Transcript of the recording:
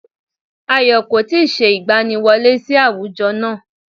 Ayọ̀ kò tí ì se ìgbaniwọlé sí àwùjọ náà